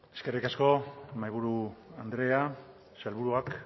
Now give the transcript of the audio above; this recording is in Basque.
eskerrik asko mahaiburu andrea sailburuak